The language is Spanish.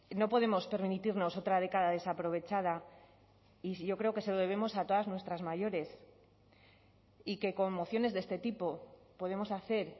no podemos permitirnos otra década desaprovechada y yo creo que se lo debemos a todas nuestras mayores y que con mociones de este tipo podemos hacer